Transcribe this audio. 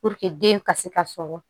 den ka se ka sɔrɔ